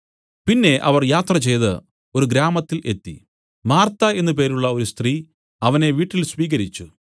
പിന്നെ അവർ യാത്രചെയ്ത് ഒരു ഗ്രാമത്തിൽ എത്തി മാർത്താ എന്നു പേരുള്ള ഒരു സ്ത്രീ അവനെ വീട്ടിൽ സ്വീകരിച്ചു